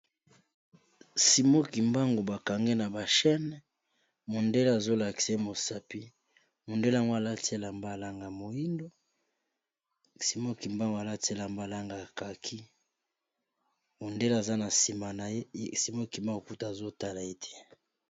simokimbango bakange na bachane mondele azolaksye mosapi mondeleango alatela mbalanga moindo simoki mbango alatela mbalangakaki mondele aza na nsima na yeye simoki mbango kuta azotala ete